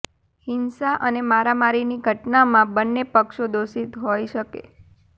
હિંસા અને મારામારીની ઘટનામાં બંને પક્ષો દોષિત હોઈ શકે